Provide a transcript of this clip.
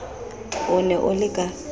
o ne o le ka